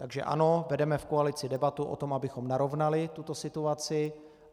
Takže ano, vedeme v koalici debatu o tom, abychom narovnali tuto situaci.